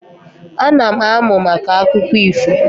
Ana m amụ maka akụkọ ifo